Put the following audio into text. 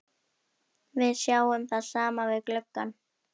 Við sjáum það saman við gluggann.